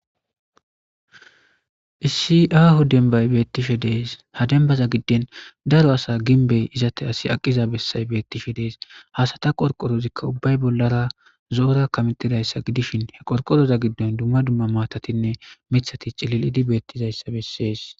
issi aahu denbay beettishe dees ha dembaza gidden daro asa ginbey izate asi aqiza bessay beettishe dees hasata qorqorozikka ubbay bollara zoora kametidayssa gidishin he qorqoroza giddon dumma dumma maatatinne mithati cilil7idi beettizayssa bessees